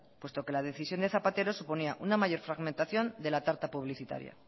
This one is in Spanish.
puesto que la decisión de zapatero suponía una mayor fragmentación de la tarta publicitaria